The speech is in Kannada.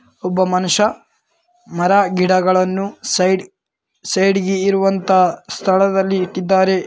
ಒಬ್ಬ ಮನುಷ್ಯ ಮರ ಗಿಡಗಳನ್ನು ಸೈಡ್ ಸೈಡ್ ಗೆ ಇರುವಂತ ಸ್ಥಳದಲ್ಲಿ ಇಟ್ಟಿದ್ದಾರೆ.